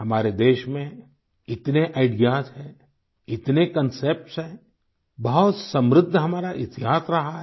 हमारे देश में इतने आईडीईएएस हैं इतने कन्सेप्ट्स हैं बहुत समृद्ध हमारा इतिहास रहा है